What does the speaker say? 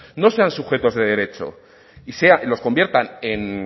no sean sujetos de derecho y los convierta en